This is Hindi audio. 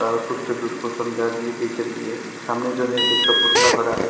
और कुछ लोग उसको समझा रही है बेचरी है सामने जो है एक पुतला खड़ा है।